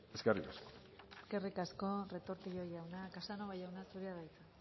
eskerrik asko eskerrik asko retortillo jauna casanova jauna zurea da hitza